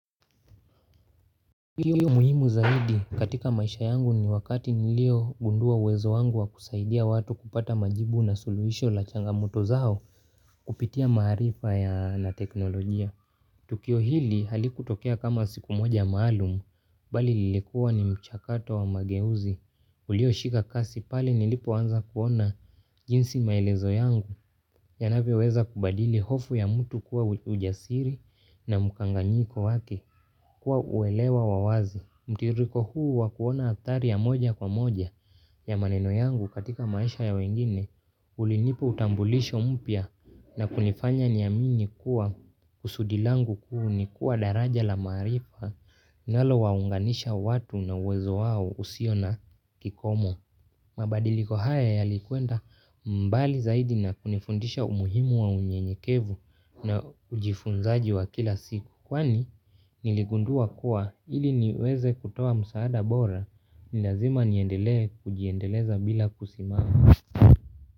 Tukio muhimu zaidi katika maisha yangu ni wakati niliogundua uwezo wangu wa kusaidia watu kupata majibu na suluhisho la changamoto zao kupitia maarifa ya na teknolojia. Tukio hili halikutokea kama siku moja maalum bali lilikua ni mchakato wa mageuzi. Ulioshika kasi pale nilipoanza kuona jinsi maelezo yangu yanavyoweza kubadili hofu ya mtu kuwa ujasiri na mkanganyiko wake. Kuwa uelewa wa wazi, mtiririko huu wa kuona athari ya moja kwa moja ya maneno yangu katika maisha ya wengine, ulinipa utambulisho mpya na kunifanya niamini kuwa kusudi langu kuu ni kuwa daraja la maarifa linalo waunganisha watu na uwezo wao usio na kikomo. Mabadiliko haya yalikwenda mbali zaidi na kunifundisha umuhimu wa unyenyekevu na ujifunzaji wa kila siku. Kwani niligundua kuwa ili niweze kutoa msaada bora ni lazima niendelee kujiendeleza bila kusimama.